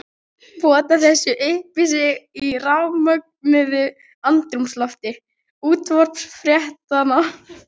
Pota þessu upp í sig í rafmögnuðu andrúmslofti útvarpsfréttanna.